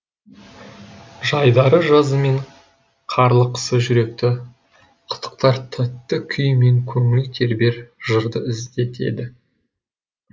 жайдары жазы мен қарлы қысы жүректі қытықтар тәтті күй мен көңіл тербер жырды іздетеді